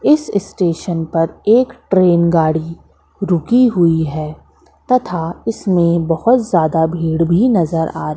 इस स्टेशन पर एक ट्रेन गाड़ी रुकी हुई है तथा इसमें बहोत ज्यादा भीड़ भी नजर आ रही--